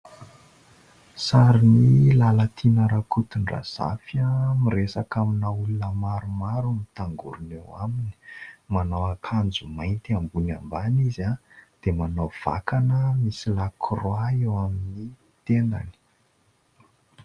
Sarin'i Lalatina RAKOTONDRAZAFY miresaka amina olona maromaro mitangorona eo aminy. Manao ankanjo mainty ambony ambany izy dia manao vakana misy lakroa eo amin'ny tendany.